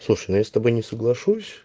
слушай ну я с тобой не соглашусь